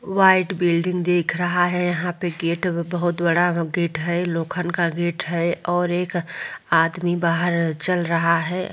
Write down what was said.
White building दिख रहा है यहाँ पे गेट बहुत बड़ा गेट है लोखन का गेट हैऔर एक आदमी बाहर चल रहा है।